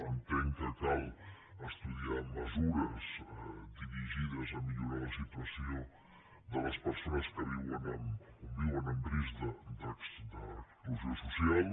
entenc que cal estudiar mesures dirigides a millorar la situació de les persones que viuen en risc d’exclusió social